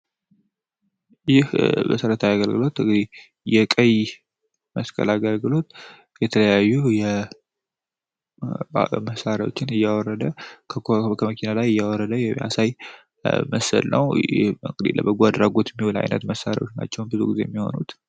ይህ መሰረታዊ አገልግሎት እንግዲህ የቀይ መስቀል አገልግሎት የተለያዩ የመሣሪያዎችን እየወረደ ከመኪና ላይ እያወረደ የሚያሳይ ምስል ነው። ለአድራጎት የሚል ዓይነት መሣሪያዎች ናቸው ብዙ ጊዜ የሚሆኑት ።